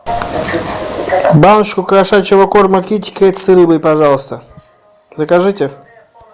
баночку кошачьего корма китекет с рыбой пожалуйста закажите